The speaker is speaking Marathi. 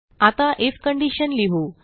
आता आयएफ कंडिशन लिहू